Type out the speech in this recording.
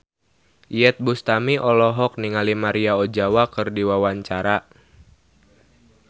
Iyeth Bustami olohok ningali Maria Ozawa keur diwawancara